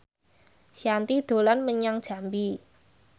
Shanti dolan menyang Jambi